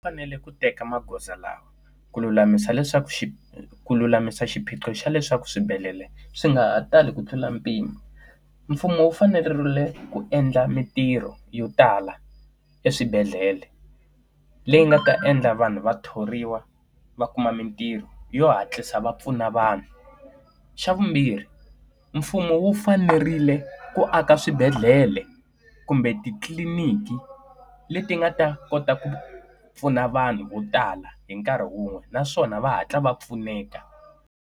Fanele ku teka magoza lawa ku lulamisa leswaku xi ku lulamisa xiphiqo xa leswaku swibedhlele swi nga ha tali ku tlula mpimo. Mfumo wu fanerile ku endla mitirho yo tala eswibedhlele, leyi nga ta endla vanhu va thoriwa va kuma mitirho yo hatlisa va pfuna vanhu. Xa vumbirhi mfumo wu fanerile ku aka swibedhlele kumbe titliliniki, leti nga ta kota ku pfuna vanhu vo tala hi nkarhi wun'we naswona va hatla va pfuneka.